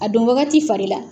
A don wagati fari la